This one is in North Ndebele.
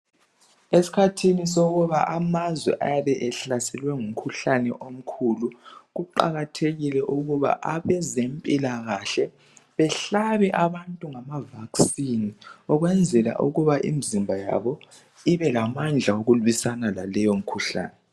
esikhani sokubana amazwe abe ehlaselwe ngumkhuhlane omkhulu kuqhakathekile ukuthi abezempilakahle behlabe abantu ngama vacine ukwenzela ukuthi imzimbayabo ibe lamandla wokulwisana laleyi mikhuhlane